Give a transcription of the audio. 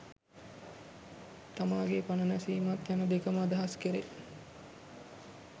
තමාගේ පණ නැසීමත් යන දෙකම අදහස් කෙරේ.